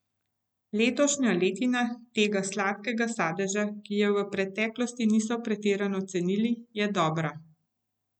Letošnja letina tega sladkega sadeža, ki ga v preteklosti niso pretirano cenili, je dobra.